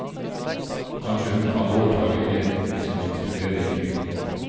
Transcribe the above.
Kanskje kan hun overta leiligheten hvis hun vil studere i byen.